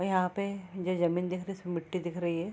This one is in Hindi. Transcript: अ यहाँ पे जो जमीन दिख रही है उसमें मिट्टी दिख रही है।